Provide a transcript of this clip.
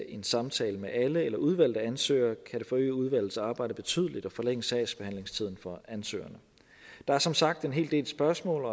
en samtale med alle eller med udvalgte ansøgeren kan det forøge udvalgets arbejde betydeligt og forlænge sagsbehandlingstiden for ansøgerne der er som sagt en hel del spørgsmål